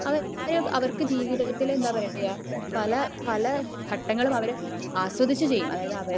അവര് അവർ ജീവിതത്തിൽ എന്താ പറയാ പല പല ഘട്ടങ്ങളും അവര് ആസ്വദിച്ച ചെയ്യും അതായത് അവര്